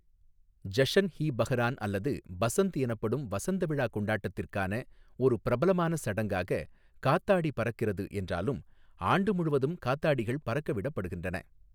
ஜஷன் இ பஹரான் அல்லது பசந்த் எனப்படும் வசந்த விழா கொண்டாட்டத்திற்கான ஒரு பிரபலமான சடங்காக காத்தாடி பறக்கிறது என்றாலும், ஆண்டு முழுவதும் காத்தாடிகள் பறக்கவிடப்படுகின்றன.